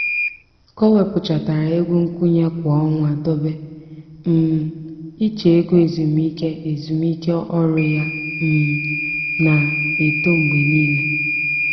ka o wepụtachara ego nkwụnye kwa ọnwa dobe um iche ego ezumiike ezumiike ọrụ ya um na-eto mgbe niile.